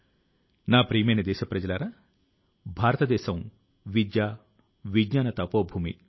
నీలేశ్ గారు లఖ్ నవూ లో జరిగిన ఒక ప్రత్యేకమైన డ్రోన్ ప్రదర్శన ను ఎంతగానో ప్రశంసించారు